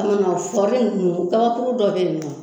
Kɔnɔ na kɔli ninnu kabakuru dɔ bɛ yen nɔ